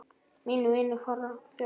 Mínir vinir fara fjöld